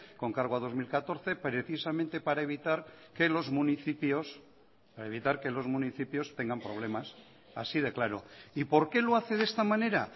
con cargo a dos mil catorce precisamente para evitar que los municipios tengan problemas así de claro y por qué lo hace de esta manera